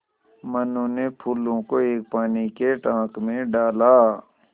मनु ने फूलों को एक पानी के टांक मे डाला